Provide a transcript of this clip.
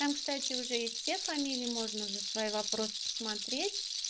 там кстати уже есть все фамилии можно уже свои вопросы посмотреть